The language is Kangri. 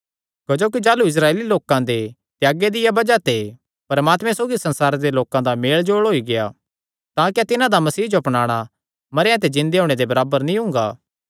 क्जोकि जाह़लू इस्राएली लोकां दे त्यागे दिया बज़ाह ते परमात्मे सौगी संसार दे लोकां दा मेलजोल होई गेआ तां क्या तिन्हां दा मसीह जो अपनाणा मरेयां ते जिन्दे होणे दे बराबर नीं हुंगा